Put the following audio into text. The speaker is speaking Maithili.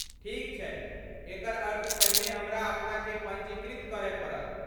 ठीक छैक एकर अर्थ पहिने हमरा अपनाकेँ पञ्जीकृत करय पड़त।